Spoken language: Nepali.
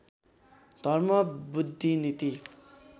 धर्म बुद्धि नीति